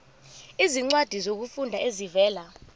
izincwadi zokufunda ezivela